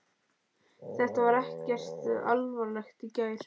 Þetta var ekkert alvarlegt í gær.